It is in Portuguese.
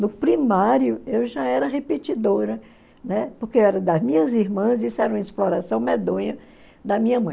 No primário, eu já era repetidora, né, porque era das minhas irmãs, isso era uma exploração medonha da minha mãe.